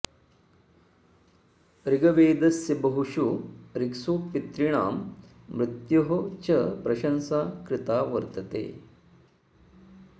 ऋग्वेदस्य बहुषु ऋक्सु पितॄणां मृत्योः च प्रषंसा कृता वर्तते